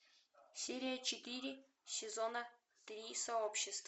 серия четыре сезона три сообщество